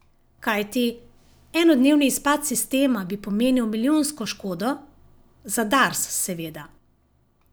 Kajti, enodnevni izpad sistema bi pomenil milijonsko škodo, za Dars, seveda.